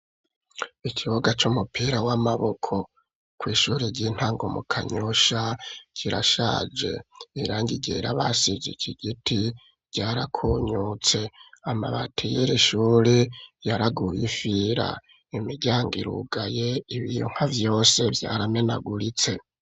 Ikibuga c'umupira w'amaboko ku ishuri ry'intango mu Kanyosha kirashaje irangi ryera basize ikigiti ryara konyotse amabati yiri shuri ryaraguye ifira imiryango irugaye ibiyo nka vyose vyaramenaguritse.